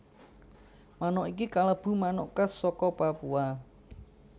Manuk iki kalebu manuk khas saka Papua